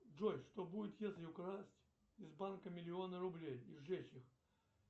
джой что будет если украсть из банка миллион рублей и сжечь их